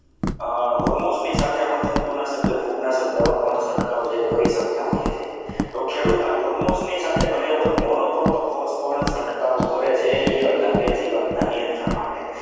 hormones ની સાથે આપણે જંતુનાશક ફૂગનાશક દવા પણ છંટકાવ છે એ કરી શકતા હોઈએ છીએ તો ખેડૂતો hormones ની સાથે ઘણી વખત monocroto frost પણ છંટકાવ કરે છે ઇયળના જીવતના નિયંત્રણ માટે.